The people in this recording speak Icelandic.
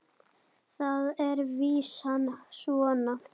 Þar er vísan svona